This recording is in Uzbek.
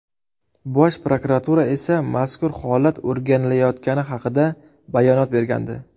Bosh prokuratura esa mazkur holat o‘rganilayotgani haqida bayonot bergandi.